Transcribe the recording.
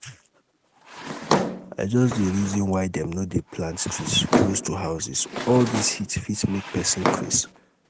i just dey reason why dem no dey plant trees close to houses all dis heat fit make pesin craze.